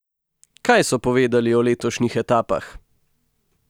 Kaj so povedali o letošnjih etapah?